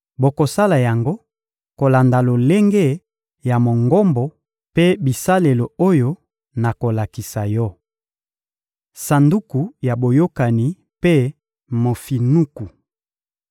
Bokosala yango kolanda lolenge ya Mongombo mpe bisalelo oyo nakolakisa yo. Sanduku ya Boyokani mpe mofinuku